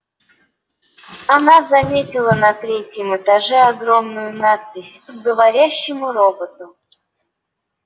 она заметила на третьем этаже огромную надпись к говорящему роботу